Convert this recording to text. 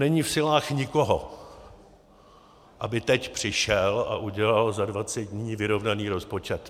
Není v silách nikoho, aby teď přišel a udělal za 20 dní vyrovnaný rozpočet.